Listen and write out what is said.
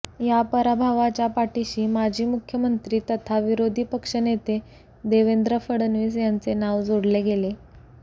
या पराभवाच्या पाठिशी माजी मुख्यमंत्री तथा विरोधी पक्षनेते देवेंद्र फडणवीस यांचे नाव जोडले गेले